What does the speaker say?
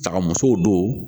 Daga musow don